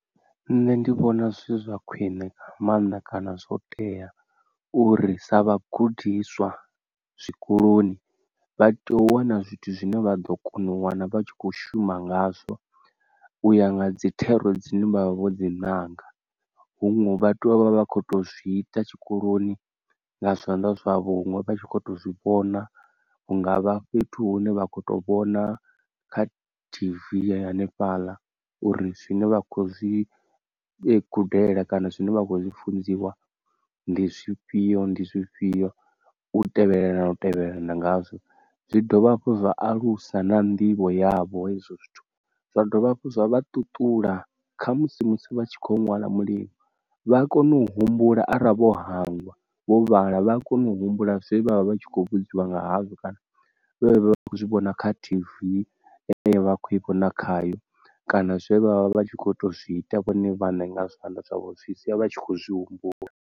Nṋe ndi vhona zwi zwa khwine maanḓa kana zwo tea uri sa vhagudiswa zwikoloni vha tea u wana zwithu zwine vha ḓo kona u wana vha tshi kho shuma ngazwo, uya nga dzi thero dzine vha vha vho dzi ṅanga. Huṅwe vha tea u vha vha vha kho to zwi ita tshikoloni nga zwanḓa zwavho huṅwe vha tshi kho to zwivhona. Hungavha fhethu hune vha kho to vhona kha T_V hanefhaḽa uri zwine vha khou zwi ee gudela kana zwine vha khou zwi funziwa ndi zwifhio ndi zwifhio u tevhelelana u tevhelelana ngazwo. Zwi dovha hafhu zwa alusa na nḓivho yavho hezwo zwithu, zwa dovha hafhu zwa ṱuṱula kha musi musi vha tshi kho ṅwala mulingo vha a kona u humbula ara vho hangwa vho vhala vha a kona u humbula zwe vha vha vha tshi khou vhudziwa nga hazwo kana zwe vha vha vha khou zwi vhona kha T_V vha kho ivho na khayo kana zwe vha vha vha tshi kho to zwi ita vhone vhaṋe nga zwithu zwavho zwi sia vha tshi kho zwi humbula.